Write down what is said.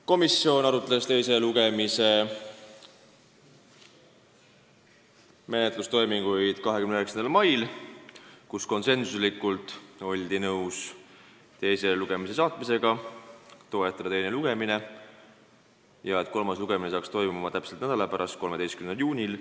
Komisjon arutas teise lugemise menetlustoiminguid 29. mail, kus oldi nõus eelnõu teisele lugemisele saatmisega ja teise lugemise lõpetamise toetamisega, et kolmas lugemine saaks toimuda täpselt nädala pärast, 13. juunil.